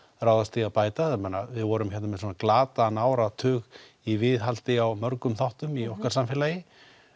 ráðast í að bæta ég meina við vorum með glataðan áratug í viðhaldi á mörgum þáttum í okkar samfélagi